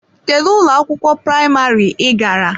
Kedu ụlọ akwụkwọ praịmarị ị gara?